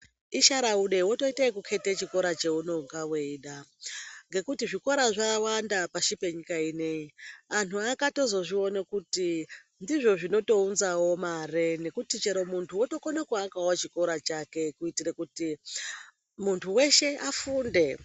Ishara ude wotoita zvekuketa chikora chaunenge weida ngekuti zvikora zvawanda pasi penyika ineyi vantu vakatozozviona kuti ndizvo zvinounzawo mare ngekuti chero ukakona kuake chiro chake kuitira kuti muntu weshe afunde.